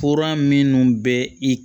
Fura minnu bɛ i